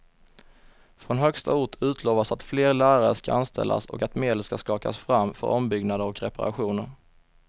Från högsta ort utlovas att fler lärare ska anställas och att medel ska skakas fram för ombyggnader och reparationer.